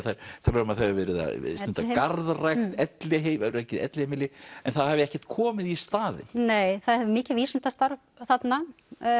talað um að það er verið að stunda garðrækt elliheimili elliheimili en það hafi ekkert komið í staðinn nei það er mikið vísindastarf þarna